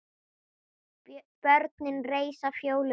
Börnin reisa Fjólu við.